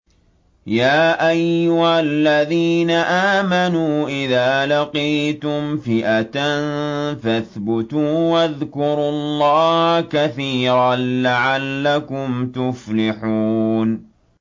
يَا أَيُّهَا الَّذِينَ آمَنُوا إِذَا لَقِيتُمْ فِئَةً فَاثْبُتُوا وَاذْكُرُوا اللَّهَ كَثِيرًا لَّعَلَّكُمْ تُفْلِحُونَ